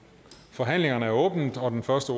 forhandlingen er åbnet og den første